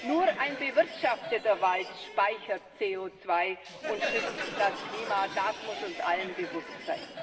Nur ein bewirtschafteter Wald speichert CO2 und schützt das Klima, das muss uns allen bewusst sein.